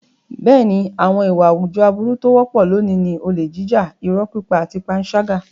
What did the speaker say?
Bẹ́ẹ̀ni, àwọn ìwà àwùjọ aburú tó wọ́pọ̀ lónìí ni olè jíjà, irọ́ pípa àti panṣágà.